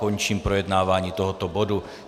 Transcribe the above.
Končím projednávání tohoto bodu.